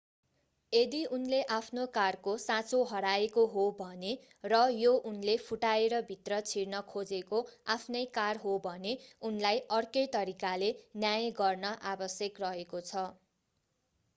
यदि उनले आफ्नो कारको साँचो हराएको हो भने र यो उनले फुटाएर भित्र छिर्न खोजेको आफ्नै कार हो भने उनलाई अर्कै तरिकाले न्याय गर्न आवश्यक रहेको छ